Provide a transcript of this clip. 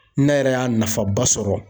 Ne yɛrɛ y'a nafaba sɔrɔ.